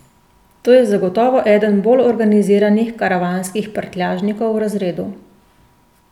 To je zagotovo eden bolj organiziranih karavanskih prtljažnikov v razredu.